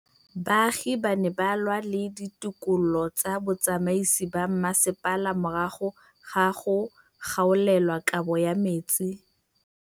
Baagi ba ne ba lwa le ditokolo tsa botsamaisi ba mmasepala morago ga go gaolelwa kabo metsi